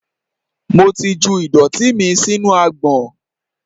Mo ti ju ìdọ̀tí mi sínú agbọ̀n.